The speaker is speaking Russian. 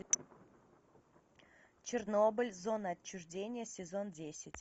чернобыль зона отчуждения сезон десять